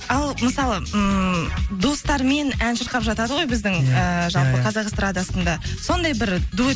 ал мысалы ммм достармен ән шырқап жатады ғой біздің ііі жалпы біздің қазақ эстрадасында сондай бір дуэт